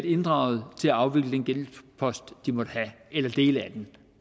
inddraget til at afvikle den gældspost de måtte have eller dele af den